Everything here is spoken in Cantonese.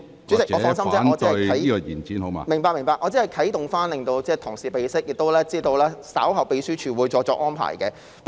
主席，放心，我只是作出啟動，讓同事備悉，而我亦知道秘書處稍後會再作安排。